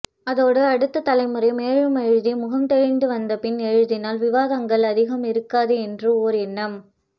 அதோடு அடுத்த தலைமுறை மேலும் எழுதி முகம் தெளிந்து வந்தபின் எழுதினால் விவாதங்கள் அதிகம் இருக்காது என்று ஓர் எண்ணம்